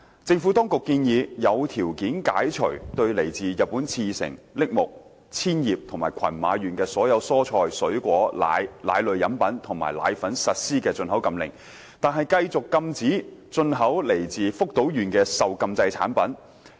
政府當局建議，有條件解除對來自日本茨城、栃木、千葉及群馬縣的所有蔬菜、水果、奶、奶類飲品及奶粉實施的進口禁令，但繼續禁止進口來自福島縣的受禁制產品。